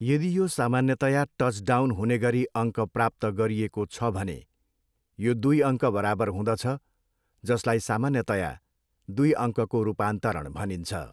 यदि यो सामान्यतया टचडाउन हुने गरी अङ्क प्राप्त गरिएको छ भने यो दुई अङ्क बराबर हुँदछ जसलाई सामान्यतया दुई अङ्कको रूपान्तरण भनिन्छ।